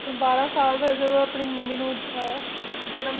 ਬਾਰਾਂ ਸਾਲ ਦੇ ਜਦੋਂ ਆਪਣੀ ਮੰਮੀ ਨੂੰ ਅਹ ਜਨਮ,